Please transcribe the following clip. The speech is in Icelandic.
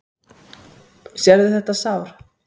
Sérðu þetta sár?